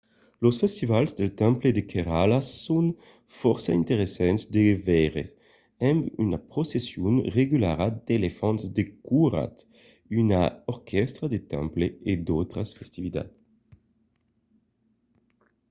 los festivals del temple de kerala son fòrça interessants de veire amb una procession regulara d'elefants decorats una orquèstra de temple e d'autras festivitats